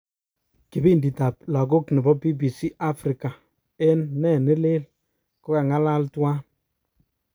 Kipidit tab lagok nebo BBC Africa eng Ne Neleel konga'ngalal tuwan.